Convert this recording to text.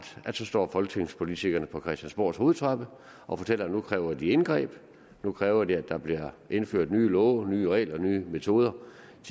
at så står folketingspolitikerne på christiansborgs hovedtrappe og fortæller at nu kræver de indgreb nu kræver de at der bliver indført nye love nye regler nye metoder